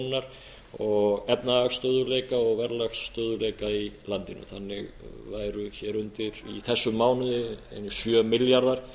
krónunnar og efnahagsstöðugleika og verðlagsstöðugleika í landinu þannig væru hér undir í þessum mánuði einir sjö milljarðar